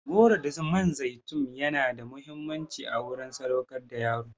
Goro da man zaitun yana da muhimmanci a wurin sadaukar da yaro.